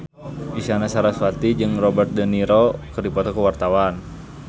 Isyana Sarasvati jeung Robert de Niro keur dipoto ku wartawan